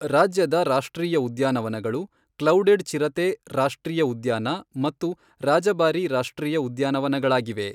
ರಾಜ್ಯದ ರಾಷ್ಟ್ರೀಯ ಉದ್ಯಾನವನಗಳು ಕ್ಲೌಡೆಡ್ ಚಿರತೆ ರಾಷ್ಟ್ರೀಯ ಉದ್ಯಾನ ಮತ್ತು ರಾಜಬಾರಿ ರಾಷ್ಟ್ರೀಯ ಉದ್ಯಾನವನಗಳಾಗಿವೆ.